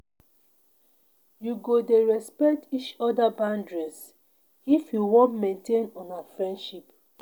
You go dey respect each oda boundaries if you wan maintain una friendship.